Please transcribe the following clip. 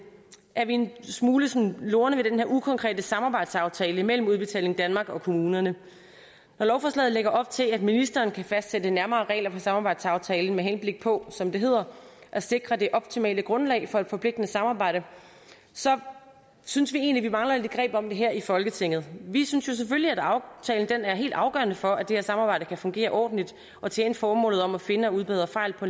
er vi en smule sådan lorne ved den her ukonkrete samarbejdsaftale mellem udbetaling danmark og kommunerne når lovforslaget lægger op til at ministeren kan fastsætte nærmere regler for samarbejdsaftalen med henblik på som det hedder at sikre det optimale grundlag for et forpligtende samarbejde så synes vi egentlig mangler lidt greb om det her i folketinget vi synes selvfølgelig at aftalen er helt afgørende for at det her samarbejde kan fungere ordentligt og tjene formålet om at finde og udbedre fejl på